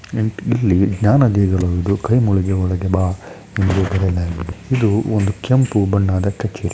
ರಾಜ್ಯದ ಎಲ್ಲ ಜಿಲ್ಲೆಗಳ ರೈತರು ಬೆಳೆದ ಬೆಳೆ--